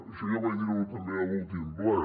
això ja vaig dir ho també a l’últim ple